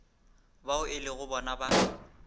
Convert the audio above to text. bao e lego bona ba